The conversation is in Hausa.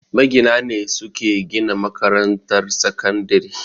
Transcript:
Magina ne suke gina makarantar sakandire